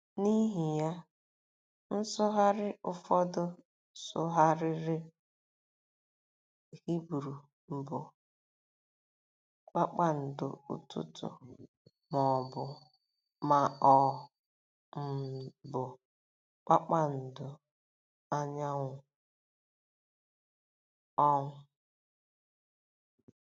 N’ihi ya, nsụgharị ụfọdụ sụgharịrị Hibru mbụ “kpakpando ụtụtụ” ma ọ um bụ “ Kpakpando Anyanwụ um .”